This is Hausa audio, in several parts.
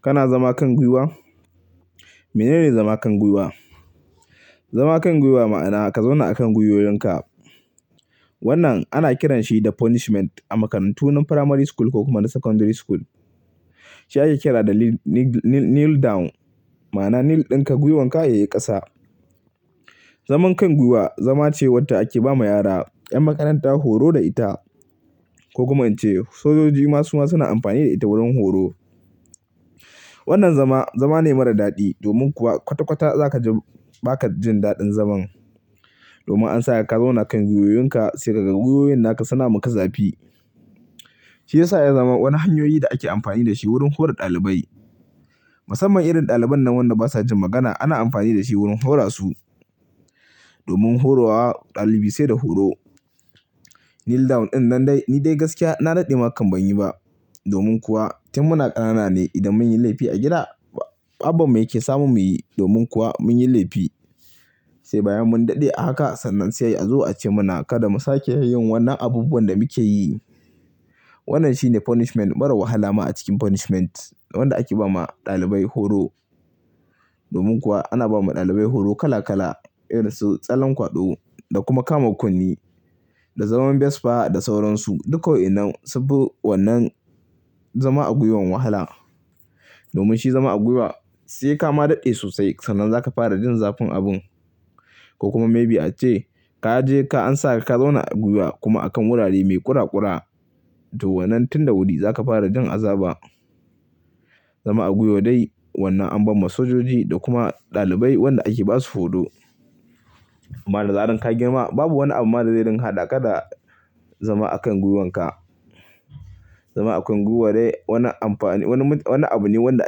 Kana zama kan gwiwa? Menene zama kan gwiwa? Zama kan gwiwa ma'ana ka zauna a kan gwiwoyinka. Wannan ana kiranshi da punishment a makarantun na primary school ko kuma na secondary school. Shi ake kira da kneel down, ma'ana kneel ɗinka gwiwonka yayi ƙasa. Zaman kan gwiwa zama ce wadda ake ba ma yara 'yan makaranta horo da ita ko kuma an ce sojoji ma su ma suna amfani da ita wurin horo. Wannan zama, zama ne mara daɗi domin kuwa kwata-kwata za ka ji bakajin daɗin zaman domin an sa ka zauna kan gwiwoyinka sai ka ga gwiwoyin naka suna muka zafi. Shi ya sa ya zama wani hanyoyi da ake amfani da shi wurin hora ɗalibai. Musamman irin ɗaliban nan wanda basa jin magana ana amfani da shi wurin hora su. Domin horo wa ɗalibi sai da horo. Kneel down ɗin nan dai ni dai gaskiya na daɗe ma kam banyi ba domin kuwa tin muna ƙanana ne idan mun yi laifi a gida, baban mu yake samu muyi domin kuwa mun yi laifi sai bayan mun daɗe a haka sannan sai a zo a ce mana kada mu sake yin wannan abubuwan da muke yi. Wannan shine punishment mara wahala ma a cikin punishment wanda ake ba ma ɗalibai horo. Domin kuwa ana ba ma ɗalibai horo kala kala irin su tsallen kwaɗo da kuma kama kunne da zaman besfa da sauransu duka wa'inan sunfi wannan zama a gwiwan wahala. Domin shi zama a gwiwa sai ka ma daɗe sosai sannan za ka fara jin zafin abun ko kuma maybe ace ka je ka an sa ka zauna a gwiwa kuma a kan wurare mai ƙura-ƙura to wannan tin da wuri za ka fara jin azaba. Zama a gwiwo dai wannan an ba ma sojoji da kuma ɗalibai wanda ake basu horo. Amma da zarar ka girma babu wani abu ma da zai dinga haɗa ka da zama a kan gwiwonka. Zama a kan gwiwo dai wani abu ne wanda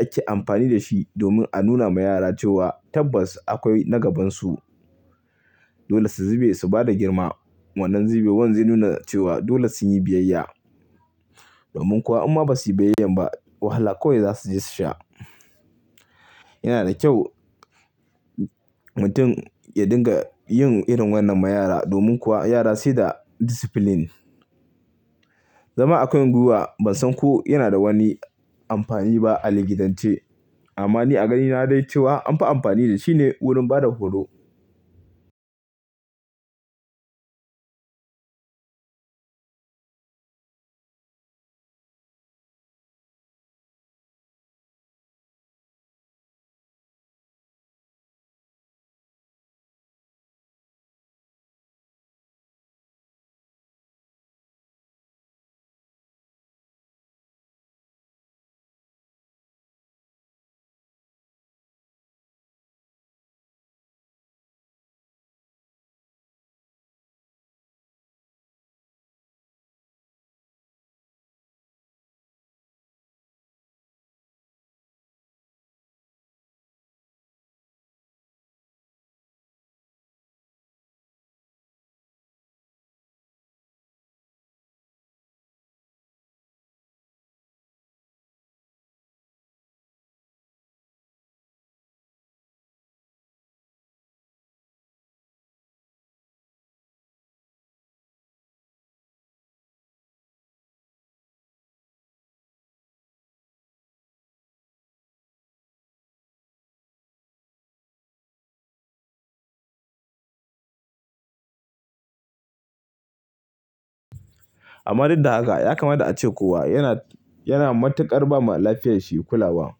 ake amfani da shi domin a nuna ma yara cewa tabbas akwai na gabansu. Dole su zube su bada girma. Wannan zube wan zai nuna cewa dole sunyi biyayya. Domin kuwa in ma ba su yi biyayyan ba wahala kawai za su je su sha. Yana da kyau mutum ya dinga yin irin wannan ma yara domin kuwa yara sai da discipline. Zama a kan gwiwa ban san ko yana da wani amfani ba a likitance amma ni a ganina dai cewa anfi amfani da shi ne wurin bada horo. Amma duk da haka ya kamata a ce kowa yana matuƙar ba ma lafiyar shi kulawa.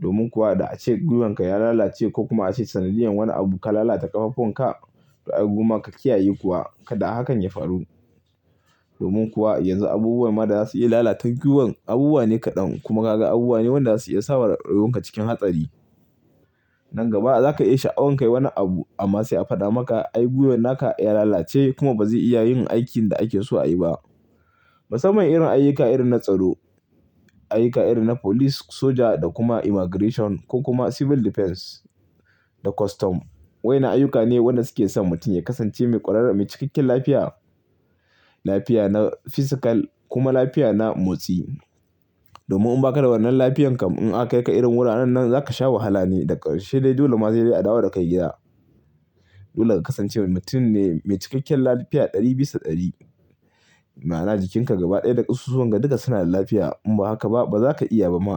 Domin kuwa da ace gwiwonka ya lalace ko kuma ace sanadiyan wani abu ka lalata ƙafafuwanka to ai gomma ka kiyaye kuwa kada hakan ya faru. Domin kuwa yanzu abubuwan ma da za su iya lalatar gwiwon abubuwa ne kaɗan kuma kaga abubuwa ne wanda za su iya sa wa rayuwanka cikin hatsari. Nan gaba za ka iya sha'awan kai wani abu amma sai a faɗa maka ai gwiwoyin naka ya lalace kuma ba za su iya yin aikin da ake so a yi ba. Musamman irin ayyuka irin na tsaro, ayyuka irin na police, soja da kuma immigration ko kuma civil defense da custom. Wa'innan ayyuka ne waɗanda suke son mutum ya kasance mai ƙwararri, mai cikakken lafiya. Lafiya na physical kuma lafiya na motsi. Domin in baka da wannan lafiyyar kam in aka kai ka irin wuraren nan zaka sha wahala ne da karshe dai dole ma sai dai a dawo da ka gida. Dole ka kasance mutum ne mai cikakken lafiya ɗari bisa ɗari ma'ana jikinka gaba ɗaya da ƙusoshi duka suna da lafiya in ba haka ba baza ka iya ba ma.